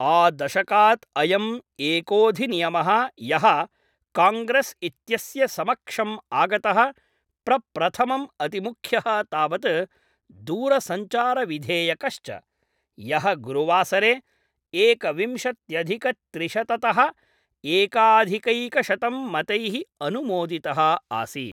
आ दशकात् अयम् एकोधिनियमः यः काङ्ग्रेस् इत्येतस्य समक्षं आगतः प्रप्रथमं अतिमुख्यः तावत् दूरसञ्चारविधेयकश्च, यः गुरुवासरे एकविंशत्यधिकत्रिशततः एकाधिकैकशतं मतैः अनुमोदितः आसीत्।